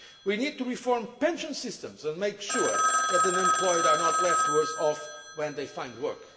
We need to reform pension systems and make sure that the unemployed are not left worse off when they find work.